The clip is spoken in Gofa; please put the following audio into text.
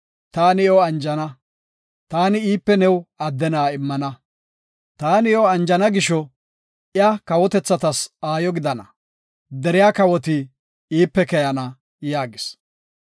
Taani iyo anjana; taani iipe new adde na7a immana. Taani iyo anjana gisho iya kawotethatas aayo gidana; deriya kawoti iipe keyana” yaagis.